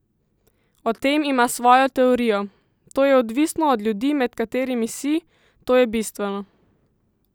O tem ima svojo teorijo: "To je odvisno od ljudi, med katerimi si, to je bistveno.